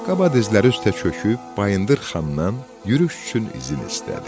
Qaba dizləri üstə çöküb Bayındır Xandan yürüş üçün izin istədi.